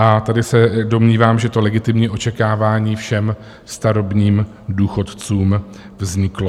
A tady se domnívám, že to legitimní očekávání všem starobním důchodcům vzniklo.